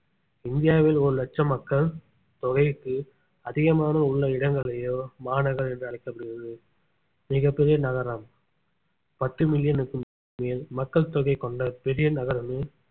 இந்தியாவில் ஒரு லட்சம் மக்கள் தொகைக்கு அதிகமான உள்ள இடங்களையோ மாநகரம் என்று அழைக்கப்படுகிறது மிகப் பெரிய நகரம் பத்து மில்லியனுக்கு மேல் மக்கள் தொகை கொண்ட பெரிய நகரமே